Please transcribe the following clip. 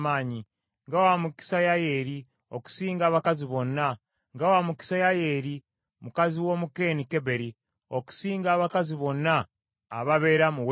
“Nga wa mukisa Yayeeri okusinga abakazi bonna! Nga wa mukisa Yayeeri mukazi w’Omukeeni Keberi, okusinga abakazi bonna ababeera mu weema!